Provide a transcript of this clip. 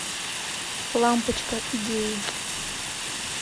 лампочка идеи